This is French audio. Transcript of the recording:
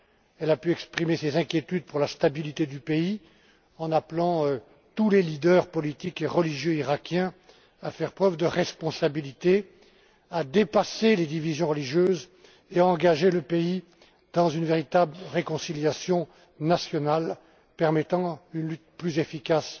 Elle a pu exprimer ses inquiétudes pour la stabilité du pays en appelant tous les leaders politiques et religieux iraquiens à faire preuve de responsabilité, à dépasser les divisions religieuses et à engager les pays dans une véritable réconciliation nationale permettant une lutte plus efficace